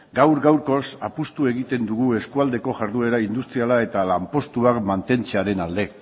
gaur gaurkoz apustu egiten dugu eskualdeko jarduera industriala eta lanpostuak mantentzearen alde